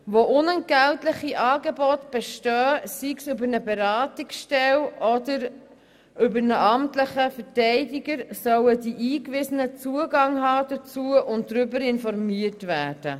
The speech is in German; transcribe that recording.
Wo unentgeltliche Angebote bestehen, sei es über eine Beratungsstelle oder über einen amtlichen Verteidiger, sollen die Eingewiesenen Zugang dazu haben und darüber informiert werden.